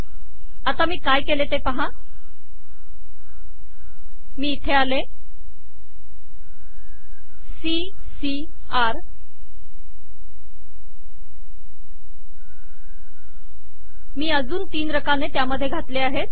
आता मी काय केले मी इथे आले आणि सी सी र मी अजून तीन रकाने त्यामध्ये घातले आहेत